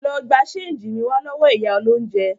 Lọ gba ṣénjì mi wá lọ́wọ́ ìyá olóúnjẹ!